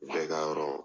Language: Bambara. Bɛɛ ka yɔrɔ